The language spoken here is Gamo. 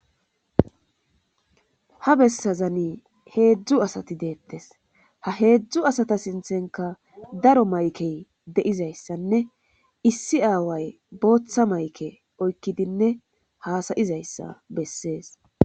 ha bessazani heedzdzu asati deettes ha heedzdzu asata sinthenka daro maykey de7izayssanne issi aaway booththa mayke oykkidinne haasayizayssa bessees